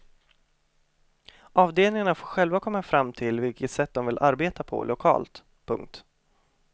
Avdelningarna får själva komma fram till vilket sätt de vill arbeta på lokalt. punkt